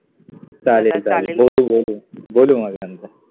चालेल चालेल, बोलु, बोलु, बोलु मग नंतर